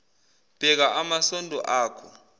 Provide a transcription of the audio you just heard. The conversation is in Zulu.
bheka amasondo akho